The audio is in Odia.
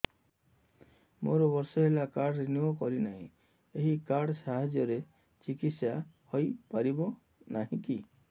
ମୋର ବର୍ଷେ ହେଲା କାର୍ଡ ରିନିଓ କରିନାହିଁ ଏହି କାର୍ଡ ସାହାଯ୍ୟରେ ଚିକିସୟା ହୈ ପାରିବନାହିଁ କି